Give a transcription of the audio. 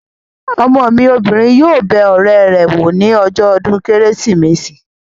Ọmọ mi obìnrin yóò bẹ ọ̀rẹ́ rẹ̀ wò ní ọjọ́ ọdún kérésìmesì